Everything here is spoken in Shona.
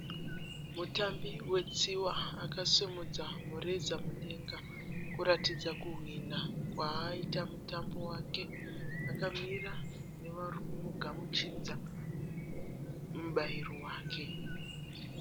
Mutambi wetsiwa akasimudza mureza mudenga kuratidza kuhwinha kwaaita kwakaita mutambo wake. Akamira nevarikumugamuchidza mubairo wake.